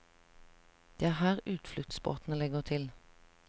Det er her utfluktsbåtene legger til.